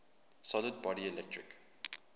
solid body electric